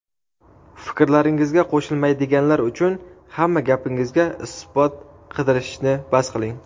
Fikrlaringizga qo‘shilmaydiganlar uchun hamma gapingizga isbot qidirishni bas qiling.